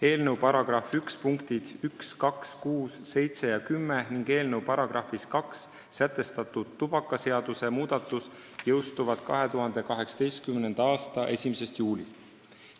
Eelnõu § 1 punktid 1, 2, 6, 7 ja 10 ning eelnõu §-s 2 sätestatud tubakaseaduse muudatus jõustuvad 2018. aasta 1. juulist.